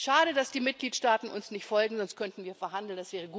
Schade, dass die Mitgliedstaaten uns nicht folgen, sonst könnten wir verhandeln.